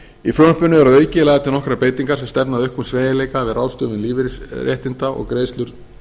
í frumvarpinu eru að auki lagðar til nokkrar breytingar sem stefna að auknum sveigjanleika við ráðstöfun lífeyrisréttinda og greiðslur